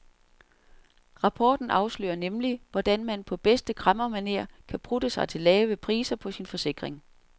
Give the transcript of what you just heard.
Rapporten afslører nemlig, hvordan man på bedste kræmmermanér kan prutte sig til lavere priser på sin forsikring.